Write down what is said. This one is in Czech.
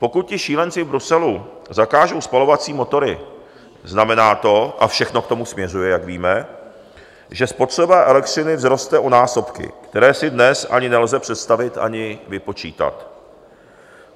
Pokud ti šílenci v Bruselu zakážou spalovací motory, znamená to - a všechno k tomu směřuje, jak víme - že spotřeba elektřiny vzroste o násobky, které si dnes ani nelze představit ani vypočítat.